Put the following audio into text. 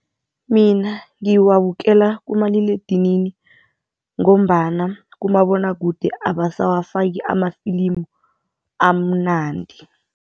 Mina ngiwabukela kumaliledinini ngombana kumabonwakude abasawafaki amafilimu amnandi.